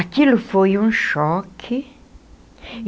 Aquilo foi um choque.